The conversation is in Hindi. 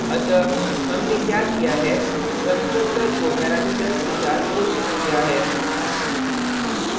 अतः हमने क्या किया है constructor को parameters के साथ घोषित किया है